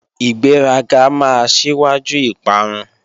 Ìgbéraga máa síwájú ìparun